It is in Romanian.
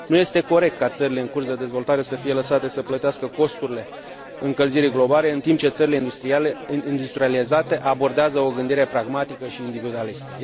Nu este corect ca țările în curs de dezvoltare să fie lăsate să plătească costurile încălzirii globale, în timp ce țările industrializate abordează o gândire pragmatică și individualistă.